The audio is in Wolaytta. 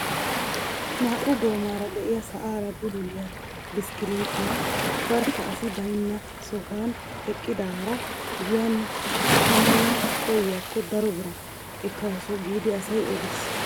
Naa"u goomara de'iyaa sa'aara bululiyaa bishikilitiyaa barkka asi baynna sohuwaan eqqidaara giyan shammana koyikko daro biraa ekkawus giidi asay odiis.